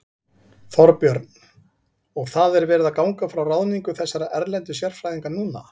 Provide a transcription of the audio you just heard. Þorbjörn: Og það er verið að ganga frá ráðningu þessara erlendu sérfræðinga núna?